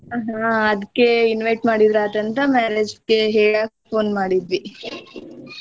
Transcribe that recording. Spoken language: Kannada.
ಆಹಾ ಅದ್ಕೆ invite ಮಾಡಿದ್ರಾದಂತ marriage ಕೆ ಹೇಳಾಕ್ಕ್ phone ಮಾಡಿದ್ವಿ .